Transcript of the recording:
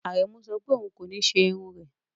Aremus sọ pé òun kò ní ṣe irun rẹ̀